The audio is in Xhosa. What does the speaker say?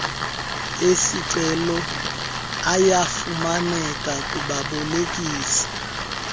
esicelo ayafumaneka kubabolekisi